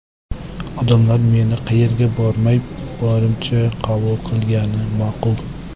Odamlar meni qayerga bormay, borimcha qabul qilgani ma’qul”.